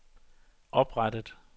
oprettet